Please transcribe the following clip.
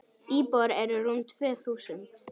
Íbúar eru rúm tvö þúsund.